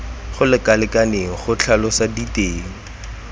go lekaneng go tlhalosa diteng